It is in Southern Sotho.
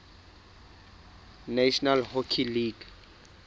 national hockey league